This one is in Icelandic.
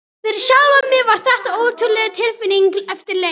Fyrir sjálfan mig var þetta ótrúleg tilfinning eftir leik.